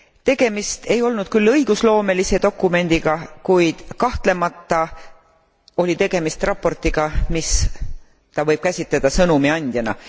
Tegemist ei olnud küll õigusloomelise dokumendiga, kuid kahtlemata oli tegemist raportiga, mida võib käsitleda sõnumiandjana.